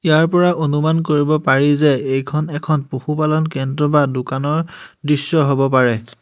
ইয়াৰ পৰা অনুমান কৰিব পাৰি যে এইখন এখন পশুপালন কেন্দ্ৰ বা দোকানৰ দৃশ্য হব পাৰে।